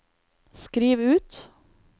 skriv ut